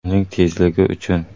Uning tezligi uchun.